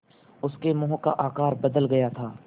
उसके मुँह का आकार बदल गया था